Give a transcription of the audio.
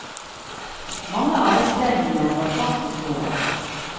Mange av vestlendingene var fast i troen.